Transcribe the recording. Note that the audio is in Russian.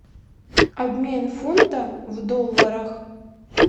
обмен фунта в долларах